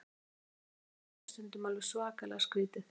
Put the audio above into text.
Það sem mér dettur í hug er stundum alveg svakalega skrítið.